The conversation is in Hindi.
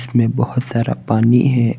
इसमें बहुत सारा पानी है।